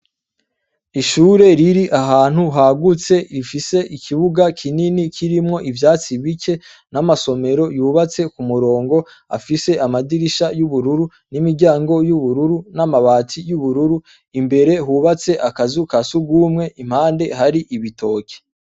Ishure iri ahantu hagutse ifise ikibuga kinini kirimwo ivyatsi bike n' amasomero yubatse kumurongo afise amadirisha asa n' ubururu n' imiryango y' ubururu n' amabati y' ubururu imbere hubatse akazu kasugumwe impande hari ibitoke.